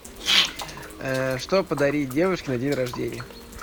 что подарить девушке на день рождения